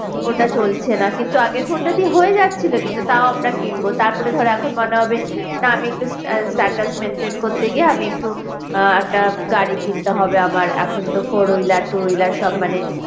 ওটা চলছে না কিন্তু আগের phone টা দিয়ে হয়ে যাচ্ছিলো কিন্তু তাও আমরা কিনবো তারপরে ধরো এখন মনে হবে না আমি একটু status maintain করতে গিয়ে আমি একটু আহ একটা গাড়ি কিনতে হবে আমার এখন তো four wheeler two wheeler সব মানে